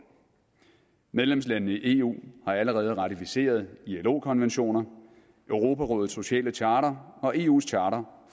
medlemslandene i eu har allerede ratificeret ilo konventioner europarådets sociale charter og eus charter